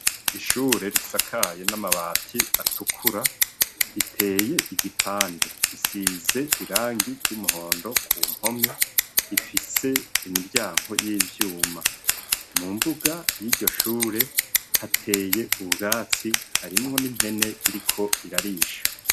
Ishure risakaye n'amabati atukura, riteye igipande. Risize irangi ry'umuhondo ku mpome, rifise imiryango y'ivyuma. Mu mbuga y'iryo shure hateye ubwatsi, harimwo n'impene iriko irarisha.